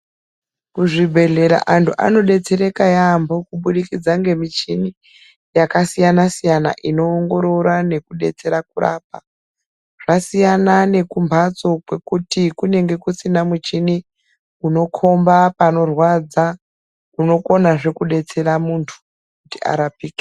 Kuzvibhedhlera vantu vanodetsereka yambo nemichini inoongorora nekurapa kumbatso kwekuti kunenge kusina muchini unokomba panorwadza unokomazve kudetsera muntu arapike.